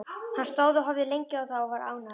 Hann stóð og horfði lengi á þá og var ánægður.